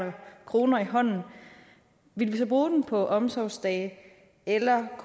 kroner i hånden så ville bruge dem på omsorgsdage eller